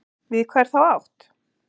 Við hvað er þá átt?